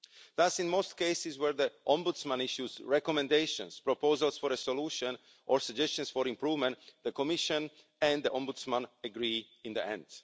Thus, in most cases where the Ombudsman issues recommendations, proposals for a solution or suggestions for improvement, the Commission and the Ombudsman agree in the end.